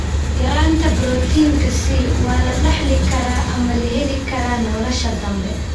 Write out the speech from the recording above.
Yaraanta borotiinka C waa la dhaxli karaa ama la heli karaa nolosha dambe.